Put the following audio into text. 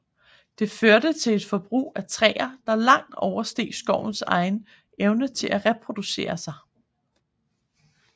Det førte til et forbrug af træer der langt oversteg skovens evne til at reproducere sig